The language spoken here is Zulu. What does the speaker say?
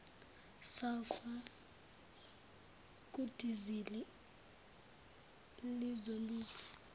sulphur kudizili lizobiza